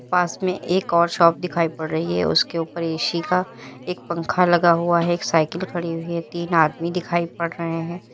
पास में एक और शॉप दिखाई पड़ रही है उसके ऊपर ए_सी का एक पंखा लगा हुआ है एक साइकिल खड़ी हुई है तीन आदमी दिखाई पड़ रहे हैं।